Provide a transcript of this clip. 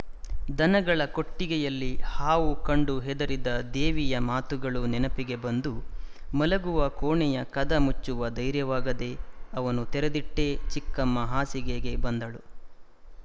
ದನಗಳ ಕೊಟ್ಟಿಗೆಯಲ್ಲಿ ಹಾವು ಕಂಡು ಹೆದರಿದ ದೇವಿಯ ಮಾತುಗಳು ನೆನಪಿಗೆ ಬಂದು ಮಲಗುವ ಕೋಣೆಯ ಕದ ಮುಚ್ಚುವ ಧೈರ್ಯವಾಗದೇ ಅವನ್ನು ತೆರೆದಿಟ್ಟೇ ಚಿಕ್ಕಮ್ಮ ಹಾಸಿಗೆಗೆ ಬಂದಳು